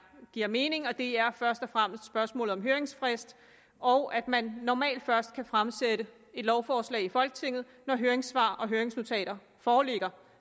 giver mening og det er først og fremmest spørgsmålet om høringsfrist og at man normalt først kan fremsætte lovforslag i folketinget når høringssvar og høringsnotater foreligger